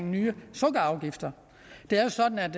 nye sukkerafgifter det er jo sådan at